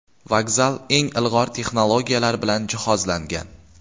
Vokzal eng ilg‘or texnologiyalar bilan jihozlangan.